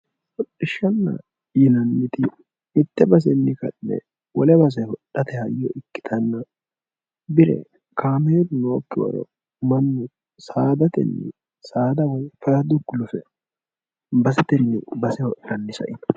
hodhishshaanna yinanniti mitte basenni ka'ne wole base hodhate hayyo ikkitanna bire kaameelu nookkiwaeo mannu saadatenni saada woy farado gulufe basetenni base hodhanni saino.